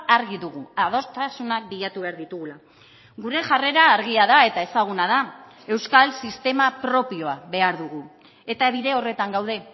argi dugu adostasunak bilatu behar ditugula gure jarrera argia da eta ezaguna da euskal sistema propioa behar dugu eta bide horretan gaude